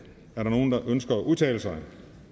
er der nogen der ønsker at udtale sig